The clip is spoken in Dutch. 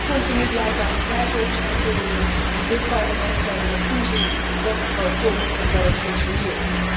Wel komt er nu blijkbaar een prijzenobservatorium, en dit Parlement zal erop toezien dat het er ook komt en dat het functioneert.